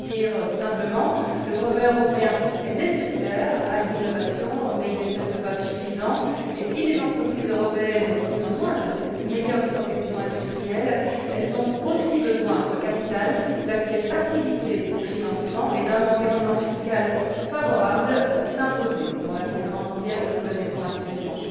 Pour le dire simplement, le brevet européen est nécessaire à l'innovation mais il n'est, certes, pas suffisant, et si les entreprises européennes ont besoin de cette meilleure protection industrielle, elles ont aussi besoin de capital, d'accès facilité au financement et d'un environnement fiscal favorable pour s'imposer dans la concurrence mondiale que nous connaissons actuellement.